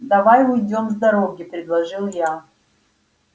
давай уйдём с дороги предложил я